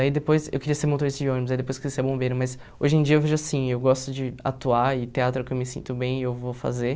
Aí depois eu queria ser motorista de ônibus, aí depois eu queria ser bombeiro, mas hoje em dia eu vejo assim, eu gosto de atuar e teatro é o que eu me sinto bem e eu vou fazer.